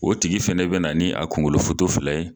O tigi fana bɛna na ni a kunkolofoto fila ye